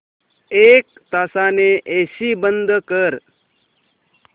एक तासाने एसी बंद कर